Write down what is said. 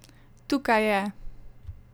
Tukaj je!